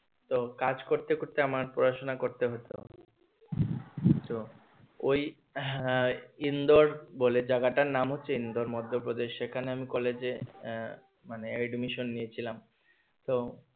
তো কাজ করতে করতে আমার পাঁসিনা করতে হতো তো ওই হ্যাঁ ইন্দোর বলে জায়গাটার নাম হচ্ছে ইন্দোর মধ্যপ্রদেশ সেখানে আমি কলেজে আহ মানে admission নিয়েছিলাম তো